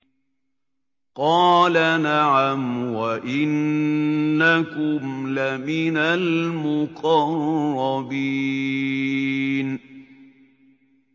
قَالَ نَعَمْ وَإِنَّكُمْ لَمِنَ الْمُقَرَّبِينَ